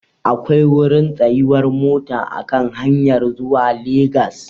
Akwai wurin tsayuwar mota a kan hanyar zuwa Legas.